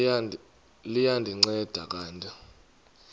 liya ndinceda kanti